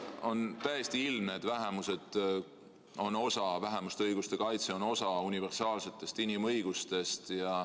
On täiesti ilmne, et vähemuste õiguste kaitse on osa universaalsetest inimõigustest.